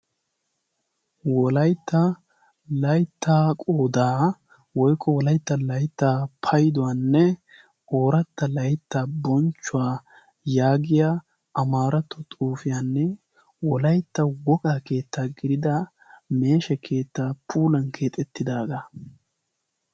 wolaytta laitta qodaa woykko wolaitta layttaa payduwaanne ooratta laytta bonchchuwaa yaagiya amaaratto xuufiyaanne wolaytta woqaa keettaa gidida meeshe keettaa puulan keexettidaagaa